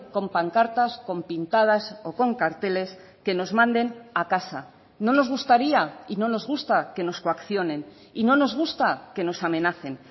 con pancartas con pintadas o con carteles que nos manden a casa no nos gustaría y no nos gusta que nos coaccionen y no nos gusta que nos amenacen